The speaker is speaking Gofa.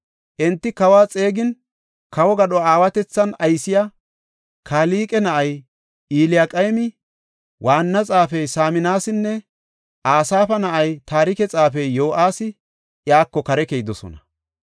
Enti kawa xeegin, kawo gadho aawatethan aysiya Kalqe na7ay Eliyaqeemi, waanna xaafey Saminasinne Asaafa na7ay taarike xaafey Yo7aasi iyako kare keyidosona.